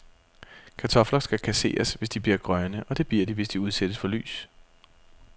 Kartofler skal kasseres, hvis de bliver grønne, og det bliver de, hvis de udsættes for lys.